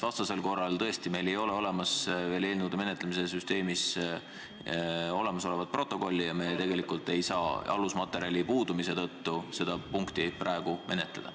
Vastasel korral, tõesti, kuna meil eelnõude menetlemise süsteemis protokolli veel ei ole, ei saa me tegelikult alusmaterjali puudumise tõttu seda punkti praegu menetleda.